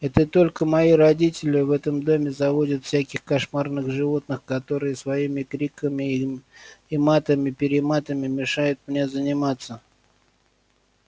это только мои родители в этом доме заводят всяких кошмарных животных которые своими криками и матами-перематами мешают мне заниматься